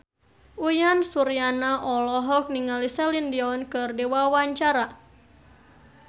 Uyan Suryana olohok ningali Celine Dion keur diwawancara